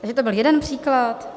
Takže to byl jeden příklad.